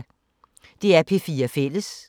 DR P4 Fælles